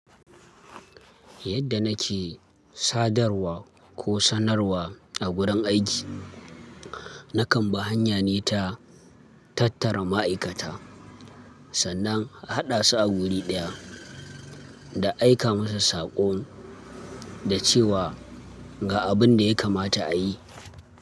Yadda nake sadarwa ko sanarwa a gurin aiki, na kan bi hanya ne ta tattara ma'aikata sannan a haɗa su a guri ɗaya da aika musu saƙon da cewa ga abin da ya kamata a yi.